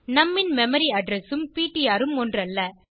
நும் ன் memory address உம் பிடிஆர் உம் ஒன்றல்ல